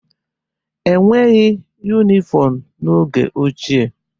E nweghị yunifọmu n'oge ochie.